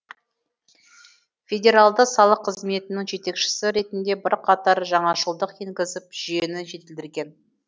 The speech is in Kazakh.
федералды салық қызметінің жетекшісі ретінде бірқатар жаңашылдық енгізіп жүйені жетілдірген